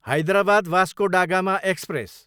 Hyderabad, Vasco da Gama express